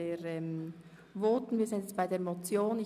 Wir sind bei der Motion angelangt.